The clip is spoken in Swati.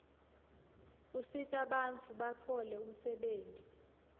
usitabantfu batfole umsebtniti